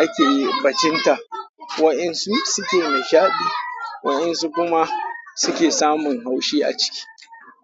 ake bacinta, waɗansu suke nishaɗi waɗansu kuma suke samun haushi a ciki.